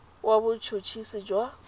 wa bot hot hisi jwa